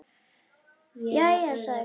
Jæja, sagði Kobbi.